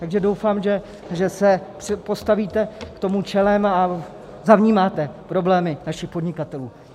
Takže doufám, že se postavíte k tomu čelem a zavnímáte problémy našich podnikatelů.